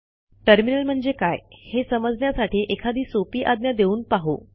terminal म्ह्णजे काय हे समजण्यासाठी एखादी सोपी आज्ञा देऊन पाहू